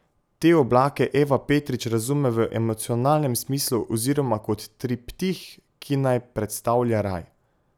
Te oblake Eva Petrič razume v emocionalnem smislu oziroma kot triptih, ki naj predstavlja raj.